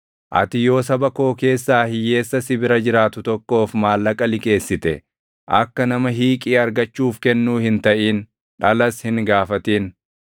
“Ati yoo saba koo keessaa hiyyeessa si bira jiraatu tokkoof maallaqa liqeessite, akka nama hiiqii argachuuf kennuu hin taʼin; dhalas hin gaafatin.